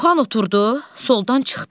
Muxan oturdu, soldan çıxdın.